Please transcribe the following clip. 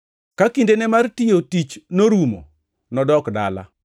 Ka kindene mar tich norumo, nodok dala.